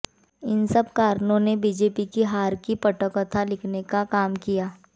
इन सब कारणों ने बीजेपी की हार की पटकथा लिखने काम किया